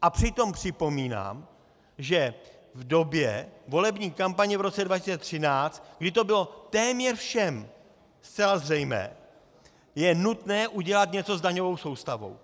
A přitom připomínám, že v době volební kampaně v roce 2013, kdy to bylo téměř všem zcela zřejmé, je nutné udělat něco s daňovou soustavou.